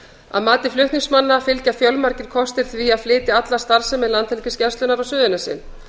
að mati flutningsmanna fylgja fjölmargir kostir því að flytja alla starfsemi landhelgisgæslunnar á suðurnesin